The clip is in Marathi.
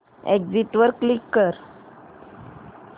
एग्झिट वर क्लिक कर